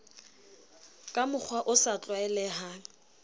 ka mokgwa o sa tlwaelehang